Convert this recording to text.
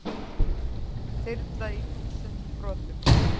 Þyrla í þúsund brotum